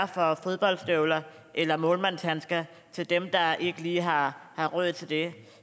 for fodboldstøvler eller målmandshandsker til dem der ikke lige har har råd til det